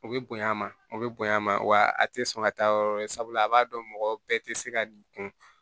U bɛ bonya a ma o bɛ bonya a ma wa a tɛ sɔn ka taa yɔrɔ wɛrɛ sabula a b'a dɔn mɔgɔ bɛɛ tɛ se ka dun